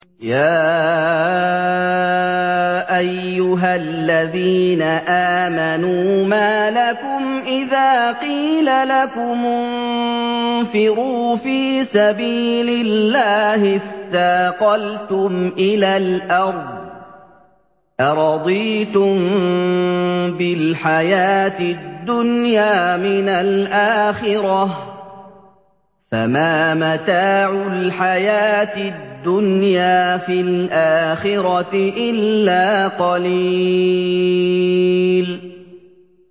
يَا أَيُّهَا الَّذِينَ آمَنُوا مَا لَكُمْ إِذَا قِيلَ لَكُمُ انفِرُوا فِي سَبِيلِ اللَّهِ اثَّاقَلْتُمْ إِلَى الْأَرْضِ ۚ أَرَضِيتُم بِالْحَيَاةِ الدُّنْيَا مِنَ الْآخِرَةِ ۚ فَمَا مَتَاعُ الْحَيَاةِ الدُّنْيَا فِي الْآخِرَةِ إِلَّا قَلِيلٌ